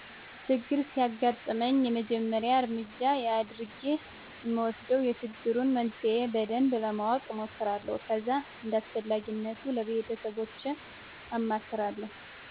ችግር ሲያግጥመኝ የመጀመሪያ እረምጃ የአድረጌ እምወስደው የችግሩን መንስሄ በደንብ ለማወቅ እሞክራለሁ ከዛ እንዳስፈላጊነቱ ለቤተሰቦቸ አማክራለሁ።